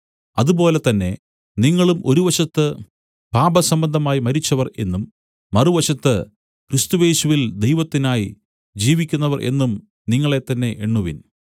അതുപോലെ തന്നെ നിങ്ങളും ഒരു വശത്ത് പാപസംബന്ധമായി മരിച്ചവർ എന്നും മറുവശത്ത് ക്രിസ്തുയേശുവിൽ ദൈവത്തിനായി ജീവിക്കുന്നവർ എന്നും നിങ്ങളെത്തന്നെ എണ്ണുവിൻ